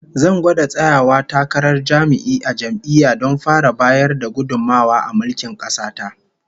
Zan gwada tsayawa takarar jami'i a jam'iyya don fara bayar da gudummawa a mulkin kasa ta